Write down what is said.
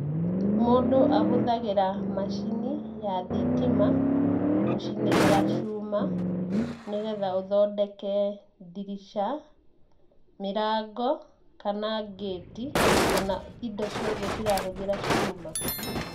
Mũndũ ahũthagĩra macini ya thitima, gũcinĩrĩra cuma nĩ getha ũthondeke ndirica, mĩrango, kana gate kana indo ciothe cirahũthĩra cuma.